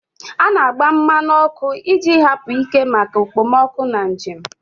A na-agba mmanụ ọkụ iji hapụ ike maka okpomọkụ na njem.